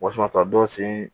Wasana ta dɔ sen